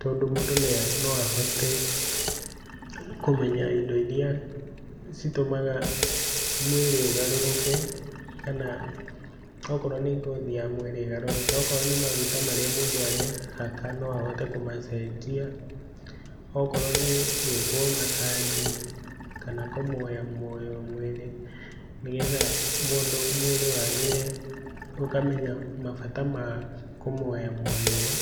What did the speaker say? tondũ mũndũ no ahote kũmenya indo iria citũmaga mwĩrĩ ũgarũrũke, kana okorwo nĩ ngothi ya mwĩrĩ ĩgarũrũke. Okorwo nĩmaguta marĩa mũndũ arehaka noahote kũmacenjia okorwo nĩgũĩkwo macaji kana kũmoyomoywo mwĩrĩ nĩgetha mũndũ mwĩrĩ wagĩre, ũkamenya mabata ma kũmwoyamwoywo .